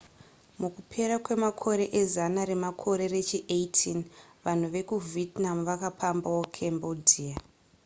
mukupera kwemakore ezana remakore rechi18 vanhu vekuvietnam vakapambawo cambodia